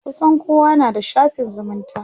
kusan kowa na da shafin zumunta